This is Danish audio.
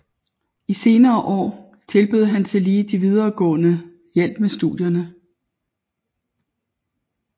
I senere år tilbød han tillige de videregående hjælp med studierne